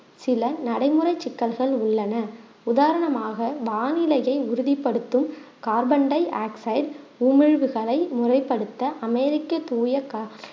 சில நடைமுறை சிக்கல்கள் உள்ளன உதாரணமாக வானிலையை உறுதிப்படுத்தும் கார்பன் டையாக்சைடு உமிழ்வுகளை முறைப்படுத்த அமெரிக்க தூய கா~